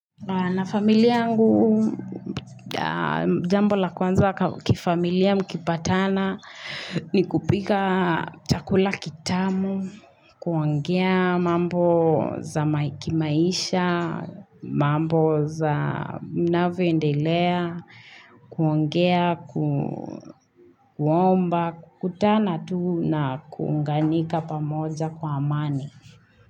Na familia angu, jambo la kwanza kifamilia mkipatana ni kupika chakula kitamu, kuongea mambo za maikimaisha, mambo za mnawe ndelea, kuongea, kuomba, kutana tu na kuunganika pamoja kwa amani.